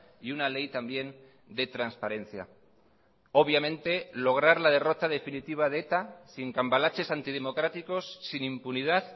y una ley también de transparencia obviamente lograr la derrota definitiva de eta sin cambalaches antidemocráticos sin impunidad